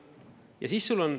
Ja siis sul on …